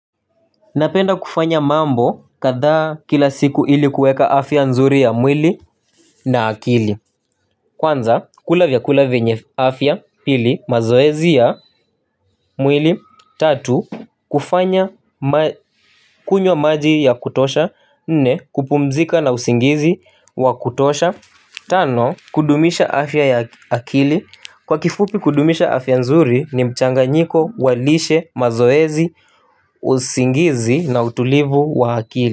Napenda kufanya mambo kadhaa kila siku ili kuweka afya nzuri ya mwili na akili. Kwanza kula vyakula vyenye afya pili mazoezi ya mwili tatu kufanya kunywa maji ya kutosha nne kupumzika na usingizi wa kutosha. Tano kudumisha afya ya akili kwa kifupi kudumisha afya nzuri ni mchanganyiko wa lishe mazoezi usingizi na utulivu wa akili.